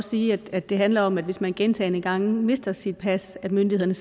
sige at det handler om at hvis man gentagne gange mister sit pas kan myndighederne